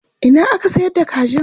Ina ake sayar da kajin?